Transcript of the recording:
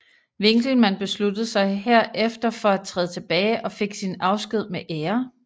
Winkelman besluttede sig herefter for at træde tilbage og fik sin afsked med ære